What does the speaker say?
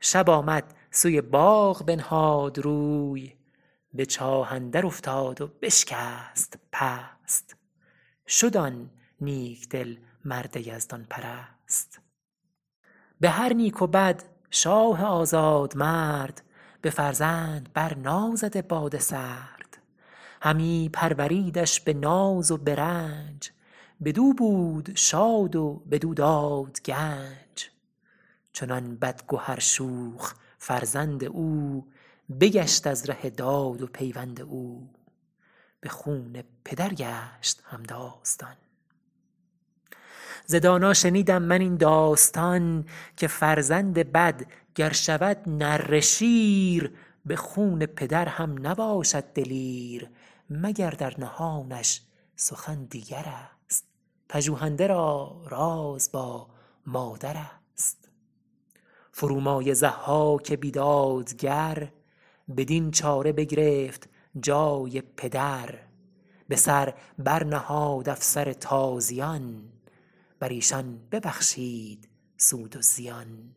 شب آمد سوی باغ بنهاد روی به چاه اندر افتاد و بشکست پست شد آن نیک دل مرد یزدان پرست به هر نیک و بد شاه آزاد مرد به فرزند بر نازده باد سرد همی پروریدش به ناز و به رنج بدو بود شاد و بدو داد گنج چنان بدگهر شوخ فرزند او بگشت از ره داد و پیوند او به خون پدر گشت همداستان ز دانا شنیدم من این داستان که فرزند بد گر شود نره شیر به خون پدر هم نباشد دلیر مگر در نهانش سخن دیگرست پژوهنده را راز با مادرست فرومایه ضحاک بیدادگر بدین چاره بگرفت جای پدر به سر بر نهاد افسر تازیان بر ایشان ببخشید سود و زیان